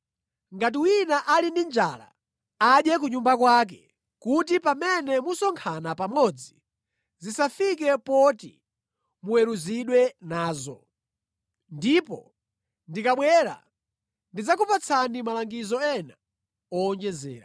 Ngati wina ali ndi njala, adye ku nyumba kwake kuti pamene musonkhana pamodzi zisafike poti muweruzidwe nazo. Ndipo ndikabwera ndidzakupatsani malangizo ena owonjezera.